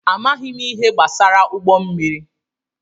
Amaghị m ihe gbasara ụgbọ mmiri.